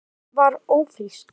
Hún var ófrísk.